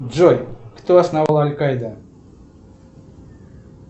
джой кто основал аль каида